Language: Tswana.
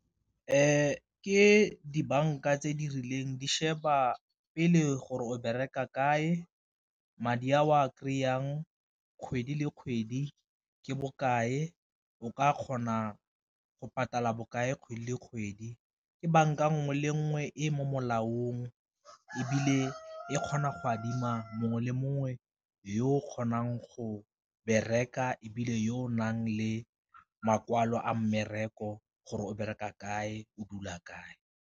Ke dibanka tse di rileng di sheba pele gore o bereka kae, madi a o a kry-ang kgwedi le kgwedi ke bokae o ka kgona go bokae kgwedi le kgwedi. Ke banka nngwe le nngwe e mo molaong ebile e kgona go adima mongwe le mongwe yo o kgonang go bereka, ebile yo o nang le makwalo a mmereko gore o bereka kae o dula kae.